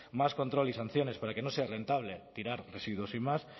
más control y sanciones para que no sea rentable tirar residuos sin más